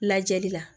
Lajɛli la